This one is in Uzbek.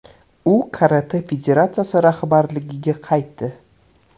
U Karate federatsiyasi rahbarligiga qaytdi.